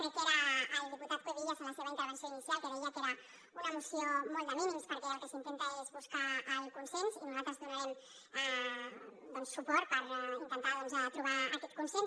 crec que era el diputat cuevillas a la seva intervenció inicial que deia que era una moció molt de mínims perquè el que s’intenta és buscar el consens i nosaltres hi donarem suport per intentar doncs trobar aquest consens